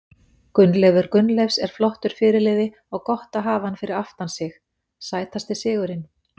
Gunnleifur Gunnleifs er flottur fyrirliði og gott að hafa hann fyrir aftan sig Sætasti sigurinn?